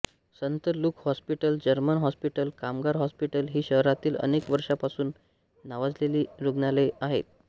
संत Luke hospital German hospital कामगार hospital ही शहरातील अनेक वर्षांपासून नावाजलेली रुग्णालये आहेत